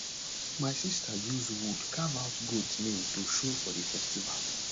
my sister use wood carve out goat name to show for the festival